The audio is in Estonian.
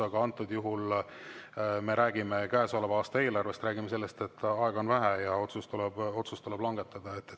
Aga antud juhul me räägime käesoleva aasta eelarvest, räägime sellest, et aega on vähe ja otsus tuleb langetada.